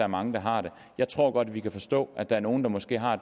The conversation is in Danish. mange der har det jeg tror godt at vi kan forstå at der er nogle der måske har